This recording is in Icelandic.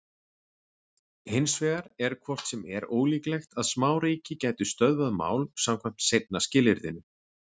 Hins vegar er hvort sem er ólíklegt að smáríki gætu stöðvað mál samkvæmt seinna skilyrðinu.